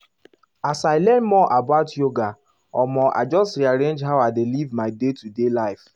as i learn more about yoga omo i just rearrange how i dey live my day-to-day life.